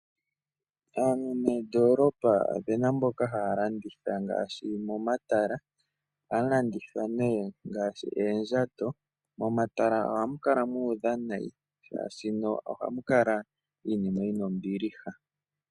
Aantu meendolopa ope na mboka haya landitha ngaashi momatala. Oha mu landitha ne ngaashi eenjato. Momatala ohamu kala muudha nayi, shashi no ohamukala iinima yina ombiliha.